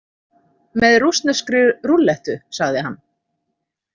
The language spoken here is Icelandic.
Með rússneskri rúllettu, sagði hann.